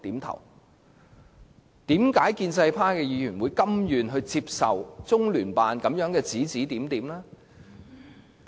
為何建制派議員甘願接受中聯辦的指指點點？